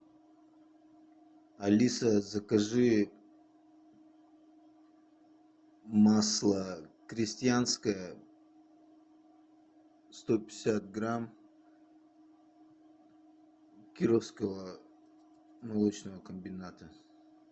алиса закажи масло крестьянское сто пятьдесят грамм кировского молочного комбината